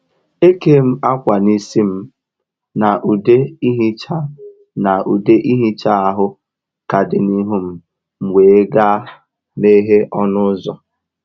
E kèm akwa n’isi m, na ude ihicha na ude ihicha ahụ ka dị n’ihu m, m wee gaa meghee ọnụ ụzọ